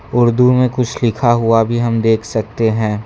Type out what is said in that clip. उर्दू में कुछ लिखा हुआ भी हम देख सकते हैं।